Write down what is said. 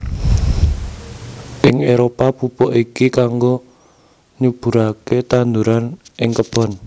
Ing Éropah pupuk iki kangggo nyuburaké tanduran ing kebon